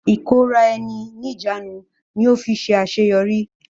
ìkóra ẹni níjàánu ni ó fi ṣe àṣeyọrí.